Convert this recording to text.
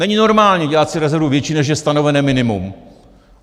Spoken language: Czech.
Není normální dělat si rezervu větší, než je stanovené minimum.